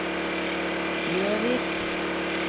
Jøvik